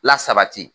Lasabati